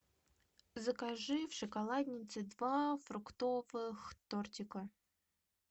закажи в шоколаднице два фруктовых тортика